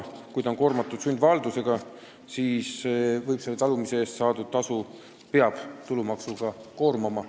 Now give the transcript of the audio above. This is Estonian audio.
Kui kinnisasi on koormatud sundvaldusega, siis selle talumise eest saadud tasu pealt tuleb võtta tulumaksu.